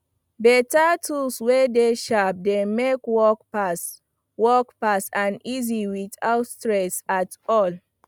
beta tools wey dey sharp dey make work fast work fast and easy witout stress at all